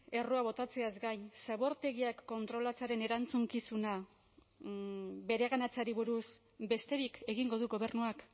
errua botatzeaz gain zabortegiak kontrolatzearen erantzukizuna bereganatzeari buruz besterik egingo du gobernuak